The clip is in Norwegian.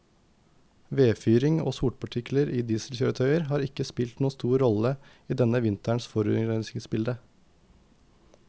Vedfyring og sotpartikler fra dieselkjøretøyer har ikke spilt noen stor rolle i denne vinterens forurensningsbilde.